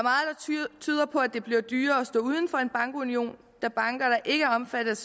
tyder på at det bliver dyrere at stå uden for en bankunion da banker der ikke er omfattet